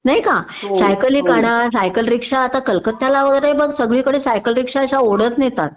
नाही का सायकली काढा सायकल रिक्षा आता कलकत्याला वगैरे बघ सगळीकडे सायकल रिक्षा अश्या ओढत नेतात